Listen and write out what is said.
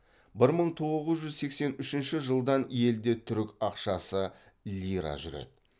бір мың тоғыз жүз сексен үшінші жылдан елде түрік ақшасы лира жүреді